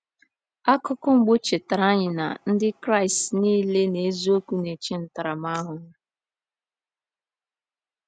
Akụkụ mbụ chetara anyị na Ndị Kraịst niile n’eziokwu na-eche ntaramahụhụ.